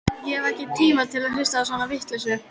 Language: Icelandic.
Ég hef ekki tíma til að hlusta á svona vitleysu.